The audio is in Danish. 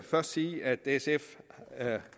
først sige at sf